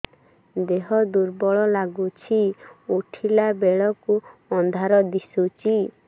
ଦେହ ଦୁର୍ବଳ ଲାଗୁଛି ଉଠିଲା ବେଳକୁ ଅନ୍ଧାର ଦିଶୁଚି